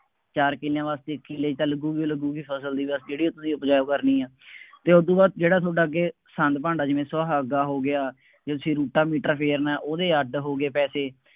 ਚਾਰ ਕਿੱਲਿਆਂ ਵਾਸਤੇ ਇੱਕ ਕਿੱਲੇ ਚ ਤਾਂ ਲੱਗੂਗੀ ਲੱਗੂਗੀ, ਫਸਲ ਦੀ ਖਲ ਜਿਹੜੀ ਤੁਸੀਂ ਉਪਜਾਊ ਕਰਨੀ ਹੈ ਅਤੇ ਉਦੋਂ ਬਾਅਦ ਜਿਹੜਾ ਤੁਹਾਡਾ ਅੱਗੇ ਸੰਦ ਭਾਂਡਾ ਜਿਵੇਂ ਸੁਹਾਗਾ ਹੋ ਗਿਆ, ਜੇ ਤੁਸੀਂ ਰੋਟਾਵੇਟਰ ਫੇਰਨਾ, ਉਹਦੇ ਅੱਡ ਹੋ ਗਏ ਪੈਸੇ,